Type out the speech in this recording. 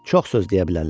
Çox söz deyə bilərlər.